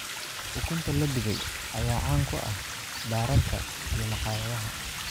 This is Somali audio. Ukunta la dubay ayaa caan ku ah baararka iyo maqaayadaha.